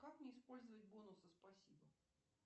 как мне использовать бонусы спасибо